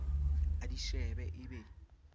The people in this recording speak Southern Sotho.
a di shebe e be